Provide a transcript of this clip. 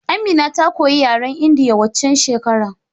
Amina ta koyi yaren indiya waccan shekerar